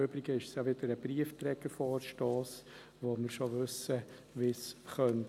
Im Übrigen ist es ja wieder ein Briefträgervorstoss, bei dem wir schon wissen, wie er landen könnte.